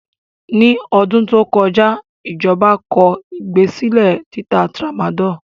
Ní ọdún tó kọja ijọba tó gbèsèlé títa tramadọlù.